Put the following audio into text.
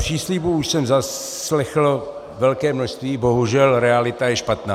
Příslibů už jsem zaslechl velké množství, bohužel realita je špatná.